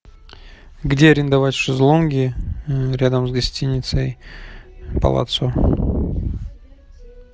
где арендовать шезлонги рядом с гостиницей палаццо